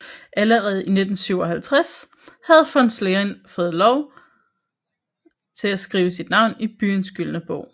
Allerede i 1957 havde von Schwerin fået lov at skrive sit navn i byens gyldne bog